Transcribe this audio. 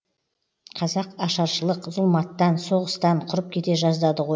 қазақ ашаршылық зұлматтан соғыстан құрып кете жаздады ғой